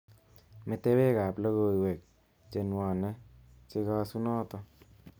Metewek ab logoiwek chenwone chekasunoto